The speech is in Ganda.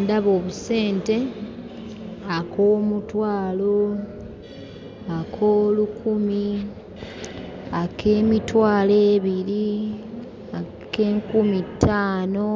Ndaba obusente; ak'omutwalo, ak'olukumi, ak'emitwalo ebiri, ak'enkumi ttaano,